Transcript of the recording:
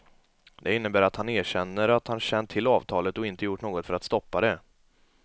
Det innebär att han erkänner att han känt till avtalet och inte gjort något för att stoppa det.